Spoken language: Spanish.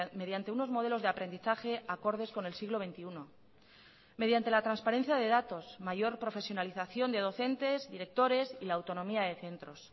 mediante unos modelos de aprendizaje acordes con el siglo veintiuno mediante la transparencia de datos mayor profesionalización de docentes directores y la autonomía de centros